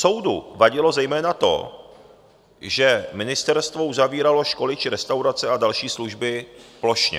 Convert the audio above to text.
Soudu vadilo zejména to, že ministerstvo uzavíralo školy či restaurace a další služby plošně.